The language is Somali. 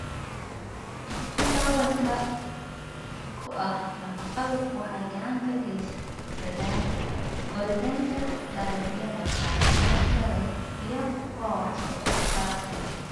Ciidda hodanka ku ah nafaqadu waxay gacan ka geysataa koritaanka dalagyada caafimaadka leh iyo kuwa wax soo saarka leh.